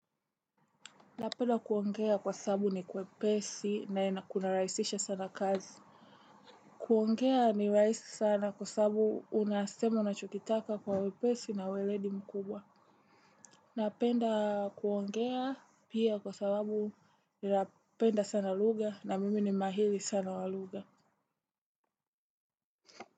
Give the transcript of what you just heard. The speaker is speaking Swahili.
Napenda kuongea kwa sababu ni kwepesi na inakunarahisisha sana kazi. Kuongea ni rahisi sana kwa sababu unasema unachotaka kwa wepesi na weledi mkubwa. Napenda kuongea pia kwa sababu ninapenda sana lugha na mimi ni mahiri sana wa lugha.